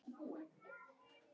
Nú var hún alein.